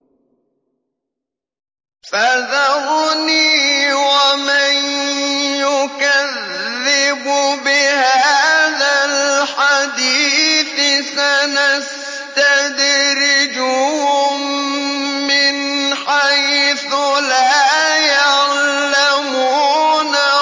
فَذَرْنِي وَمَن يُكَذِّبُ بِهَٰذَا الْحَدِيثِ ۖ سَنَسْتَدْرِجُهُم مِّنْ حَيْثُ لَا يَعْلَمُونَ